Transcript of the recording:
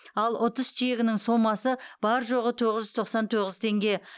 ал ұтыс чегінің сомасы бар жоғы тоғыз жүз тоқсан тоғыз теңге